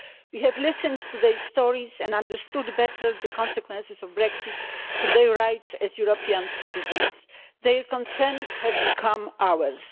We have listened to their stories and understood better the consequences of Brexit for their rights as European citizens. Their concerns have become ours.